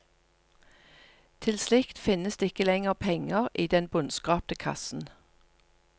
Til slikt finnes det ikke lenger penger i den bunnskrapte kassen.